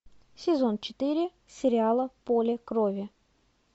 сезон четыре сериала поле крови